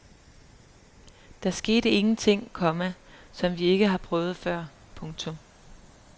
Der skete ingen ting, komma som vi ikke har prøvet før. punktum